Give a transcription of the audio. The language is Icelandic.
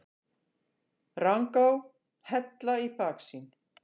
Rangá, Hella í baksýn.